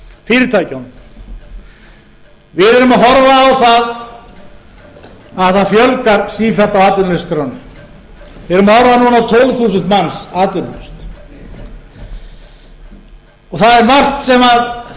fyrirtækjunum við erum að horfa á að það fjölgar sífellt á atvinnuleysisskránni við erum að horfa núna á tólf þúsund manns atvinnulausa það er margt sem þarf